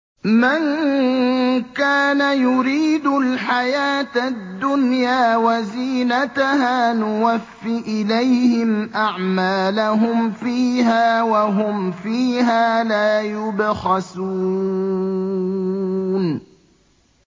مَن كَانَ يُرِيدُ الْحَيَاةَ الدُّنْيَا وَزِينَتَهَا نُوَفِّ إِلَيْهِمْ أَعْمَالَهُمْ فِيهَا وَهُمْ فِيهَا لَا يُبْخَسُونَ